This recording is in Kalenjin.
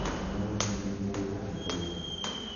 Malania Trump koibu todet ab tekisto.